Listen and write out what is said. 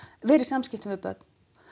vera í samskiptum við börn